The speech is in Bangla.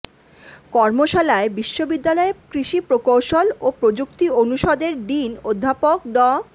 কর্মশালায় বিশ্ববিদ্যালয়ের কৃষি প্রকৌশল ও প্রযুক্তি অনুষদের ডিন অধ্যাপক ড